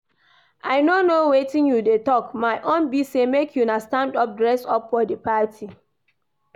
I no know wetin you dey talk, my own be say make you stand up dress for the party